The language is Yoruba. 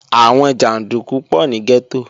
Àwọn jàndúkú pọ̀ ní gẹ́tò